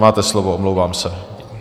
Máte slovo, omlouvám se.